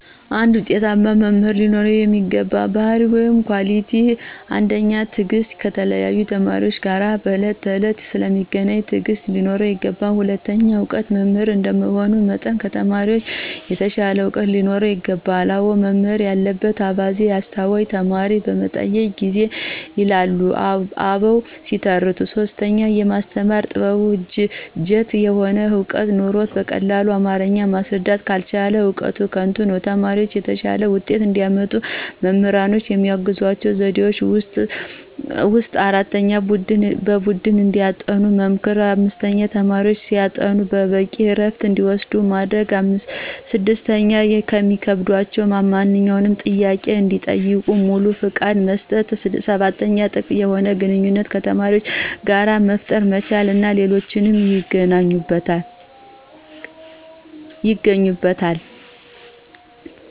አንድ ውጤታማ መምህር ሊኖረው የሚገባ ባህርይ(Quality)፦ ፩) ትዕግስት፦ ከተለያዩ ተማሪዎች ጋር በዕለት ተዕለት ስለሚገናኝ ትዕግስት ሊኖረው ይገባል። ፪) እውቀት፦ መምህር እንደመሆኑ መጠን ከተማሪዎች የተሻለ ዕውቀት ሊኖረው ይገባል።" አዋይ መምህር ያለበት አባዜ፤ አስተዋይ ተማሪ በጠየቀው ጊዜ" ይላሉ አበው ሲተርቱ። ፫) የማስተማር ጥበብ፦ ጅት የሆነ ዕውቀት ኑሮት በቀላል አማረኛ ማስረዳት ካልቻለ እውቀቱ ከንቱ ነው። ተማሪዎች የተሻለ ውጤት እንዲያመጡ መምህራኖች ከሚያግዟቸው ዘዴዎች ውስጥ፦ ፩) በቡድን እንዲያጠኑ መምከር። ፪) ተማሪዎች ሲያጠኑ በቂ እረፍት እንዲወስዱ ማድረግ። ፫) የሚከብዳቸውን ማንኛውንም ጥያቄ እንዲጠይቁ ሙሉ ፍቃድ መስጠት። ፬)ጥብቅ የሆነ ግንኙነት ከተማሪዎች ጋር መፍጠር መቻል እና ሌሎችም ይገኙበታል።